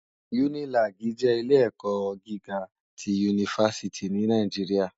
Unilàgí jè ilé èkò gigá ti únifásìtí ni Nàijiriâ